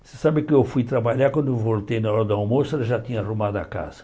Você sabe que eu fui trabalhar, quando eu voltei na hora do almoço, ela já tinha arrumado a casa.